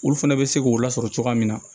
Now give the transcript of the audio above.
Olu fɛnɛ bɛ se k'o lasɔrɔ cogoya min na